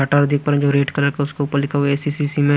data देख पा रहे हैं जो रेड कलर का है उसके ऊपर लिखा हुआ है ए_ सी_ सी_ सीमेंट--